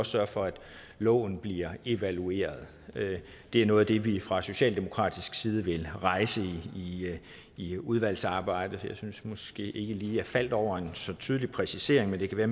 sørge for at loven bliver evalueret det er noget af det vi fra socialdemokratisk side vil rejse i udvalgsarbejdet jeg synes måske ikke lige jeg faldt over en så tydelig præcisering men det kan være